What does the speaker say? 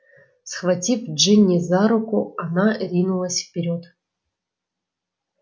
схватив джинни за руку она ринулась вперёд